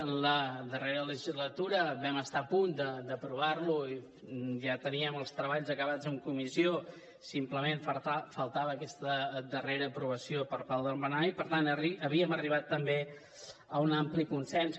en la darrera legislatura vam estar a punt d’aprovar lo i ja teníem els treballs acabats en comissió simplement faltava aquesta darrera aprovació per part del plenari i per tant havíem arribat també a un ampli consens